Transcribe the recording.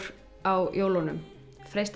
á jólunum